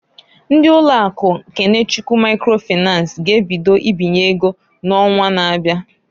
Ndị ụlọ akụ Kenechukwu Maikro Fịnans g'ebido ibinye ego n'onwa na-abia.